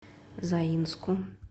заинску